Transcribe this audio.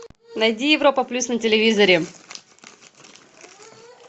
найди европа плюс на телевизоре